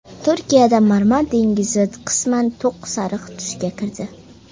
Turkiyada Marmar dengizi qisman to‘q sariq tusga kirdi.